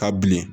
Ka bilen